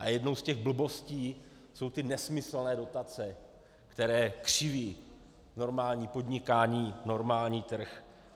A jednou z těch blbostí jsou ty nesmyslné dotace, které křiví normální podnikání, normální trh.